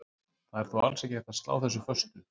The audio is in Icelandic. Það er þó alls ekki hægt að slá þessu föstu.